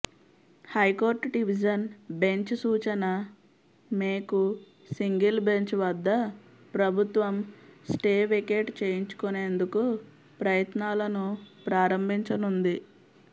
high court division bench సూచన మేుకు single bench వద్ద ప్రభుత్వం స్టే వేకేట్ చేయించుకొనేందుకు ప్రయత్నాలను ప్రారంభించనుంది